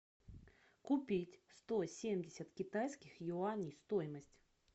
купить сто семьдесят китайских юаней стоимость